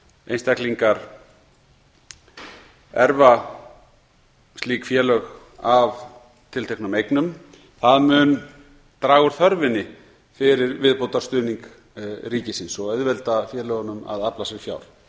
einstaklingar arfleiða slík félög að tilteknum eigum það mun draga úr þörfinni fyrir viðbótarstuðning ríkisins og auðvelda félögunum að afla sér fjár